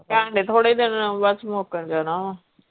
ਕਹਿੰਦੇ ਥੋੜੇ ਦਿਨ ਬਸ ਮੁੱਕ ਜਾਣਾ ਵਾ।